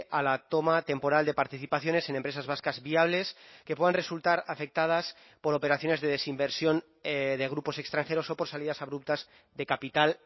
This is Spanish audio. a la toma temporal de participaciones en empresas vascas viables que puedan resultar afectadas por operaciones de desinversión de grupos extranjeros o por salidas abruptas de capital